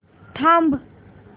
थांब